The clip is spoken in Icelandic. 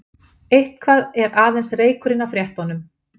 Eitthvað er aðeins reykurinn af réttunum